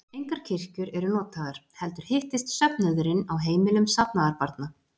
Engar kirkjur eru notaðar, heldur hittist söfnuðurinn á heimilum safnaðarbarna.